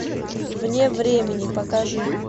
вне времени покажи